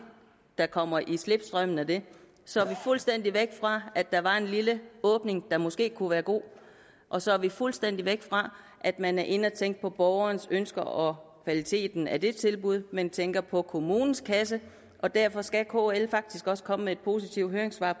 der kommer i slipstrømmen af det så er vi fuldstændig væk fra at der var en lille åbning der måske kunne være god og så er vi fuldstændig væk fra at man er inde og tænke på borgerens ønsker og kvaliteten af det tilbud man tænker på kommunens kasse og derfor skal kl faktisk også komme med et positivt høringssvar